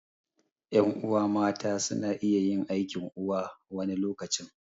Ƴan'uwa mata suna iya yin aikin uwa wani lokacin